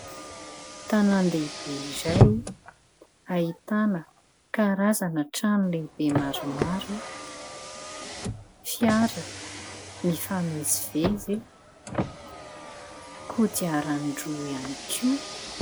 Tanan-dehibe izay ahitana karazana trano lehibe maromaro, fiara mifamezivezy, kodiarandroa ihany koa.